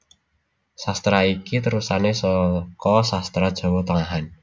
Sastra iki terusané saka Sastra Jawa Tengahan